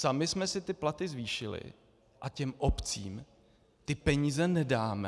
Sami jsme si ty platy zvýšili, a těm obcím ty peníze nedáme?